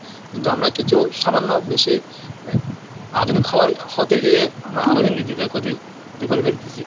কিন্তু আমরা কিছু সামান্য বেশি আধুনিক হওয়ার হতে গিয়ে আমাদের নিজেদের ক্ষতি করে ফেলতেছি।